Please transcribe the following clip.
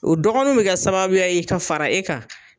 O dɔgɔninw bi kɛ sababuya ye ka fara e kan.